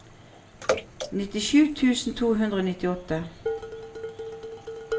nittisju tusen to hundre og nittiåtte